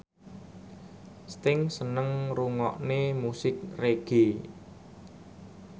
Sting seneng ngrungokne musik reggae